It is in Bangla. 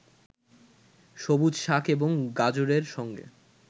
সবুজ শাক এবং গাজরের সঙ্গে